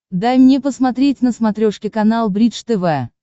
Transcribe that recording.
дай мне посмотреть на смотрешке канал бридж тв